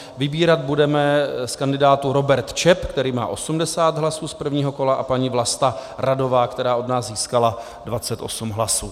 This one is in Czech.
Vybírat budeme z kandidátů: Robert Čep, který má 80 hlasů z prvního kola, a paní Vlasta Radová, která od nás získala 28 hlasů.